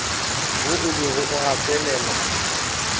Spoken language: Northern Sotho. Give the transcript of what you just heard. wo o bego o gatelela